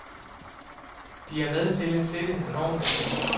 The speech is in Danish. De er med til at sætte normerne.